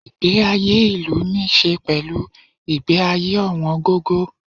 Ìgbé ayé ìlú níí ṣe pẹ̀lú ìgbé ayé ọ̀wọ̀n gógó.